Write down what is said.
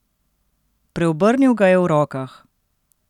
Preobrnil ga je v rokah.